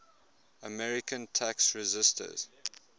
american tax resisters